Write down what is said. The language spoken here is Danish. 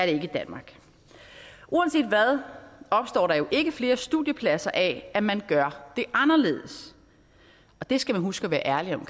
ikke i danmark uanset hvad opstår der jo ikke flere studiepladser af at man gør det anderledes og det skal man huske at være ærlig om